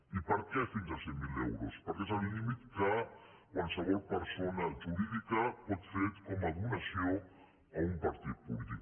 i per què fins a cent mil euros perquè és el límit que qualsevol persona jurídica pot fer com a donació a un partit polític